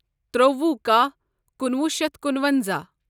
ترٛوٚوُہ کاہ کُنوُہ شیتھ کُنونزاہ